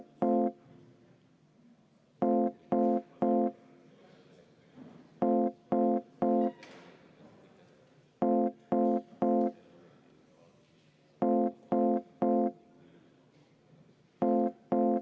Härra Põlluaas, ega ometi!